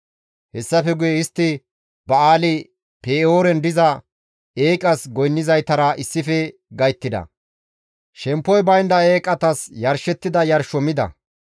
Hessafe guye istti Ba7aali-Pe7ooren diza eeqas goynnizaytara issife gayttida; shemppoy baynda eeqatas yarshettida yarshoza mida.